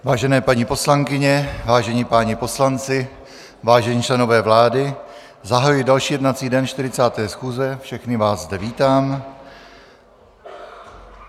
Vážené paní poslankyně, vážení páni poslanci, vážení členové vlády, zahajuji další jednací den 40. schůze, všechny vás zde vítám.